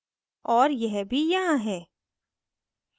और यह भी यहाँ है